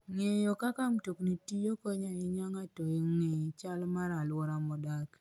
Ng'eyo kaka mtokni tiyo konyo ahinya e miyo ng'ato ong'e chal mar alwora modakie.